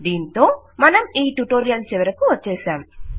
దీంతో మనం ఈ ట్యుటోరియల్ చివరకు వచ్చేసాం